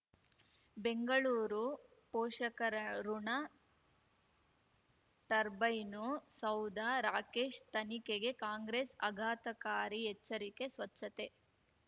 ಬೆಂಗಳೂರು ಪೋಷಕರಋಣ ಟರ್ಬೈನು ಸೌಧ ರಾಕೇಶ್ ತನಿಖೆಗೆ ಕಾಂಗ್ರೆಸ್ ಆಘಾತಕಾರಿ ಎಚ್ಚರಿಕೆ ಸ್ವಚ್ಛತೆ